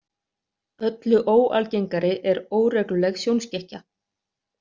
Öllu óalgengari er „óregluleg sjónskekkja“.